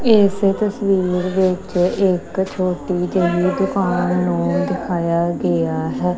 ਇਸ ਤਸਵੀਰ ਵਿੱਚ ਇੱਕ ਛੋਟੀ ਜਿਹੀ ਦੁਕਾਨ ਨੂੰ ਦਿਖਾਇਆ ਗਿਆ ਹੈ।